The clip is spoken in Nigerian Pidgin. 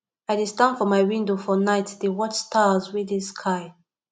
i dey stand for my window for night dey watch stars wey dey sky